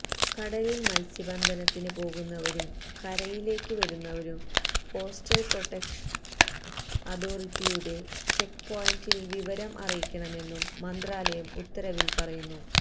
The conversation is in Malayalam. കടലില് മല്സ്യബന്ധനത്തിന് പോകുന്നവരും കരയിലേക്ക് വരുന്നവരും കോസ്റ്റല് പ്രോട്ടക്ഷന് അതോറിറ്റിയുടെ ചെക്പോയന്റില് വിവരം അറിയിക്കണമെന്നും മന്ത്രാലയം ഉത്തരവില് പറയുന്നു